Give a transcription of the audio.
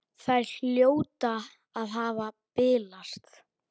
Þær hljóta að hafa bilast!